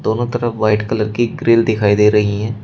दोनों तरफ white colour की ग्रिल दिखाई दे रही है।